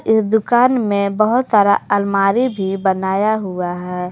इस दुकान में बहुत सारा आलमारी भी बनाया हुआ है।